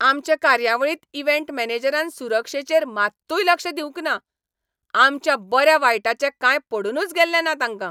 आमचे कार्यावळींत इव्हेंट मॅनेजरान सुरक्षेचेर मात्तूय लक्ष दिवंक ना. आमच्या बऱ्या वायटाचें कांय पडूनुच गेल्लें ना तांकां.